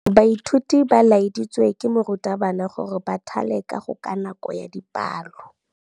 Baithuti ba laeditswe ke morutabana gore ba thale kagô ka nako ya dipalô.